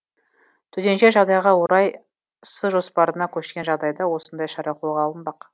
төтенше жағдайға орай с жоспарына көшкен жағдайда осындай шара қолға алынбақ